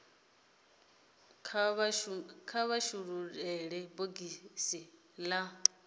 kha vha shulule bogisi la